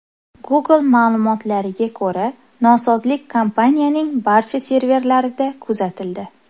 Google ma’lumotlariga ko‘ra, nosozlik kompaniyaning barcha servislarida kuzatildi .